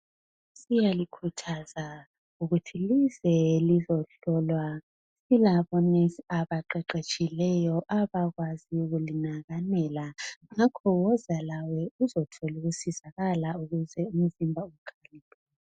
Siyalikhuthaza lize lizohlolwa , kulama nurse aqeqetshileyo abakwaziyo ukulinakakela ngakho wozani lawe uzothola ukusizakala ukuze umzimba ukhaliphe